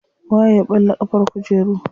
Waye ya ɓalla ƙafar kujeru.